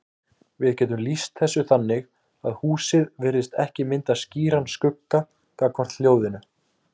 Við getum lýst þessu þannig að húsið virðist ekki mynda skýran skugga gagnvart hljóðinu.